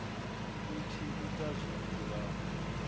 u tshi ita zwithu nga